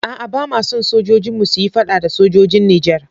A'a, ba ma son sojojinmu su yi fada da sojojin Nijar.